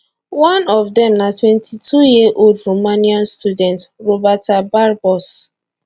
one of dem na 22yearold romanian student roberta barbos